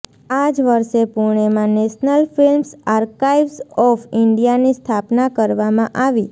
આ જ વર્ષે પૂણેમાં નેશનલ ફિલ્મ્સ આર્કાઈવ્ઝ ઓફ ઈન્ડિયાની સ્થાપના કરવામાં આવી